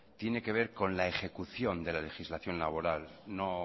tiene que ver con la ejecución de la legislación laboral no